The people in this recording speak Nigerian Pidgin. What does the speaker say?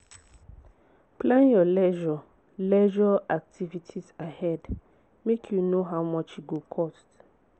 look for for free or cheap activities make you enjoy witout spending too much.